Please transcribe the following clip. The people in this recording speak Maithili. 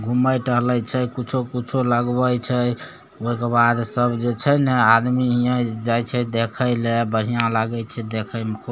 घुमय टहले छै कुछो-कुछो लगवे छै ओय के बाद सब जे छै ने आदमी हीये जाय छै देखे ले बढिया लागय छै देखे मे खूब।